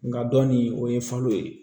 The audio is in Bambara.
Nga dɔnni o ye falo ye